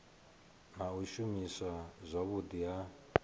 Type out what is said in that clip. na u shumiswa zwavhudi ha